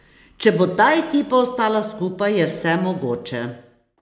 Če bo ta ekipa ostala skupaj, je vse mogoče.